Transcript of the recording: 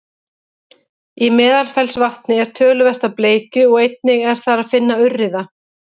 í meðalfellsvatni er töluvert af bleikju og einnig er þar að finna urriða